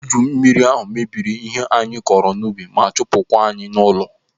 Eju mmiri ahụ mebiri ihe anyị kọrọ n'ubi ma chụpụ kwa anyị n'ụlọ.